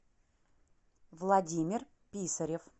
владимир писарев